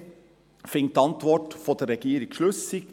Die glp findet die Antwort der Regierung schlüssig.